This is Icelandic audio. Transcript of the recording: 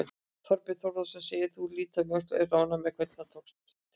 Þorbjörn Þórðarson: Þegar þú lítur um öxl, ert þú ánægður með hvernig til tókst?